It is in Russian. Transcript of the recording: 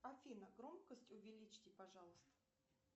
афина громкость увеличьте пожалуйста